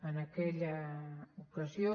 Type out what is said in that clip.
en aquella ocasió